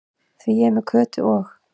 Því ég er með Kötu og